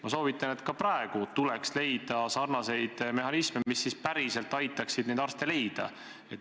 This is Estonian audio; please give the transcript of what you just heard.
Ma soovitan, et ka praegu tuleks leida sarnaseid mehhanisme, mis päriselt aitaksid neid arste leida.